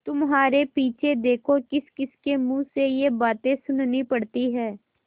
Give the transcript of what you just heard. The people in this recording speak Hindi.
तुम्हारे पीछे देखो किसकिसके मुँह से ये बातें सुननी पड़ती हैं